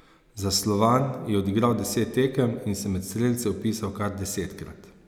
Za Slovan je odigral deset tekem in se med strelce vpisal kar desetkrat.